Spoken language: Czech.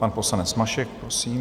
Pan poslanec Mašek, prosím.